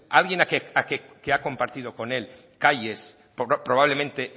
a alguien que ha compartido con él calles probablemente